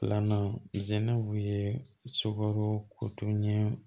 Filanan sɛnɛbo ye sogo kotunɲɛ